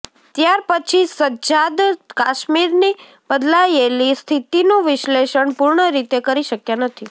ત્યારપછી સજ્જાદ કાશ્મીરની બદલાયેલી સ્થિતિનું વિશ્લેષણ પૂર્ણ રીતે કરી શક્યા નથી